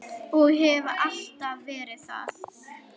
Og hef alltaf verið það.